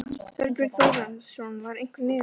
Þorbjörn Þórðarson: Var einhver niðurstaða?